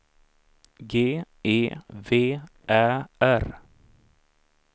G E V Ä R